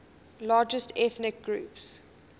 largest ethnic groups